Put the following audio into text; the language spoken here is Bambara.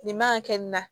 Nin man ka kɛ nin na